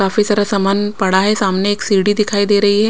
काफी सारा सामान पड़ा है सामने एक सीढ़ी दिखाई दे रही है।